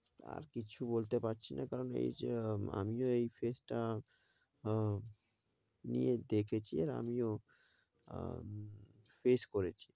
আর কিছু বলতে পারছি না কারণ এই যে আমিও এই phase টা আহ নিয়ে দেখেছি আর আমিও উম face করেছি।